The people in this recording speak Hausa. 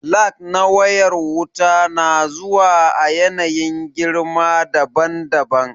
Lag na wayar wuta na zuwa a yanayin girma daban daban